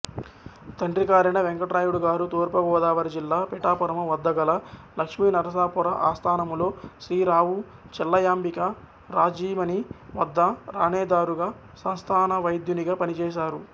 తండ్రిగారైన వేంకటరాయుడుగారు తూర్పుగోదావరిజిల్లా పిఠాపురము వద్ద గల లక్ష్మీనరసాపుర ఆస్థానములో శ్రీరావుచెల్లయాంబికా రాజ్ఞీమణి వద్ద ఠాణేదారుగా సంస్థానవైద్యునిగా పనిచేశారు